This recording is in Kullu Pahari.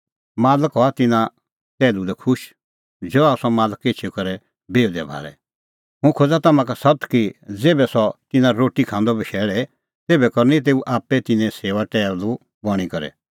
मालक हआ तिन्नां टैहलू लै खुश ज़हा सह मालक एछी करै बिहुदै भाल़े हुंह खोज़ा तम्हां का सत्त कि ज़ेभै सह तिन्नां रोटी खांदअ बशैल़े तेभै करनी तेऊ आप्पै तिन्नें सेऊआ टैहलू बणीं करै